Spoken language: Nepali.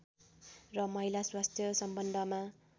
र महिला स्वास्थ्य सम्बन्धमा